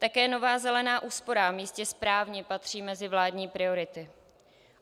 Také Nová zelená úsporám jistě správně patří mezi vládní priority.